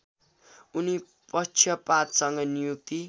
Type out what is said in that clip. उनी पक्षपातसँग नियुक्ति